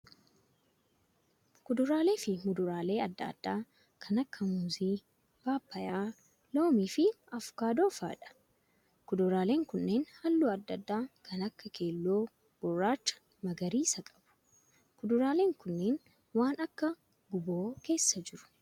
Kuduraalee fi muduraalee adda addaa kan akka muuzii, paappayyaa, loomii fi avokaadoo fa'aadha. Kuduraaleen kunneen halluu adda addaa kan akka keelloo, gurraacha fi magariisa qabu. Kuduraaleen kunneen waan akka guuboo keessa jiru.